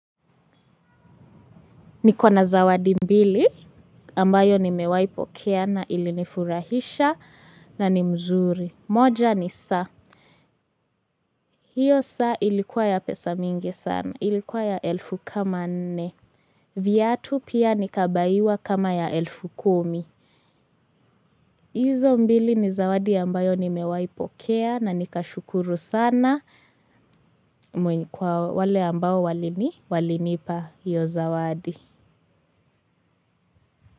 Nikona zawadi mbili ambayo nimewahi pokea na ili nifurahisha na ni mzuri. Moja ni saa. Hiyo saa ilikuwa ya pesa mingi sana. Ilikuwa ya elfu kama nne. Vyatu pia nikabaiwa kama ya elfu kumi. Izo mbili ni zawadi ambayo ni mewahi pokea na nikashukuru sana. Mwenye kwa wale ambayo walinipa hiyo zawadi.